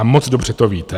A moc dobře to víte.